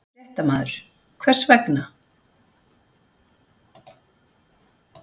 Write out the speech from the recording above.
Fréttamaður: Hvers vegna?